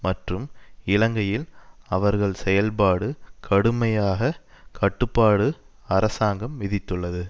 மற்றும் இலங்கையில் அவர்கள் செயல்பாடு கடுமையான கட்டுப்பாடு அரசாங்கம் விதித்துள்ளது